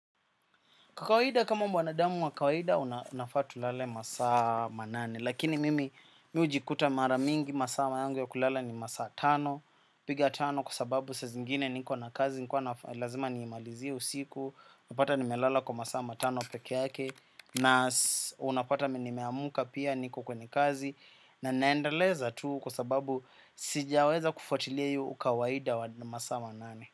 Kwa kawaida kama mwanadamu wa kawaida unafaa tulale masaa manane, lakini mimi mi hujikuta maramingi masaa yangu ya kulala ni masaa tano, piga tano kwa sababu saa zingine niko na kazi, nikuwa lazima niimalizie usiku, napata nimelala kwa masaa matano peke yake, na unapata nimeamka pia niko kwenye kazi, na naendeleza tu kwa sababu sijaweza kufuatilia hiyo ukawaida wa masaa manane.